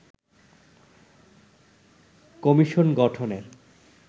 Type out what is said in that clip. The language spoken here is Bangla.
কমিশন গঠন করে